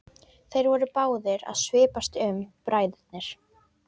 Þeir voru báðir að svipast um bræðurnir.